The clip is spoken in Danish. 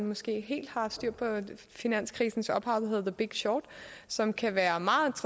måske ikke helt har styr på finanskrisens ophav der hedder the big short som kan være meget